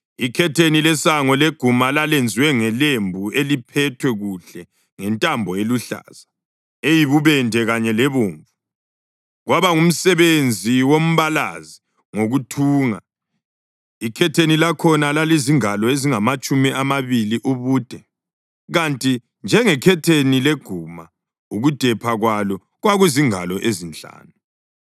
Ikhetheni lesango leguma lalenziwe ngelembu eliphethwe kuhle ngentambo eluhlaza, eyibubende kanye lebomvu, kwaba ngumsebenzi wombalazi ngokuthunga. Ikhetheni lakhona lalizingalo ezingamatshumi amabili ubude, kanti njengekhetheni leguma ukudepha kwalo kwakuzingalo ezinhlanu,